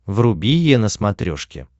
вруби е на смотрешке